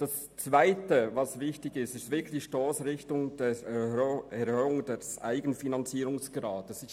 Zweitens ist die Erhöhung des Eigenfinanzierungsgrades wichtig.